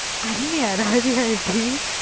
அன்னியாரா அது யாருடி